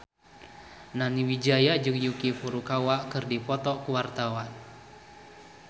Nani Wijaya jeung Yuki Furukawa keur dipoto ku wartawan